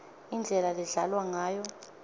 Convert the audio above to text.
indlela ledlalwa ngayo